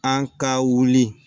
An ka wuli